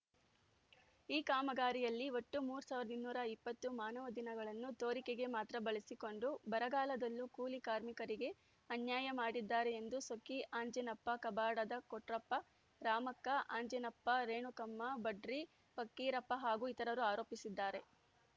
ಈ ಕಾಮಗಾರಿಯಲ್ಲಿ ಒಟ್ಟು ಮೂರ್ ಸಾವಿರದ ಇನ್ನೂರ ಇಪ್ಪತ್ತು ಮಾನವ ದಿನಗಳನ್ನು ತೋರಿಕೆಗೆ ಮಾತ್ರ ಬಳಸಿಕೊಂಡು ಬರಗಾಲದಲ್ಲೂ ಕೂಲಿಕಾರ್ಮಿಕರಿಗೆ ಅನ್ಯಾಯ ಮಾಡಿದ್ದಾರೆ ಎಂದು ಸೊಕ್ಕಿ ಅಂಜೀನಪ್ಪ ಕಬಾಡದ ಕೊಟ್ರಪ್ಪ ರಾಮಕ್ಕ ಅಂಜೀನಮ್ಮ ರೇಣುಕಮ್ಮ ಬಂಡ್ರಿ ಪಕ್ಕೀರಪ್ಪ ಹಾಗೂ ಇತರರು ಆರೋಪಿಸಿದ್ದಾರೆ